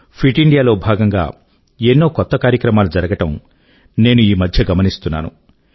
fit ఇండియాలో భాగం గా ఎన్నో కొత్త కార్యక్రమాలు జరగడం నేను ఈ మధ్య గమనిస్తున్నాను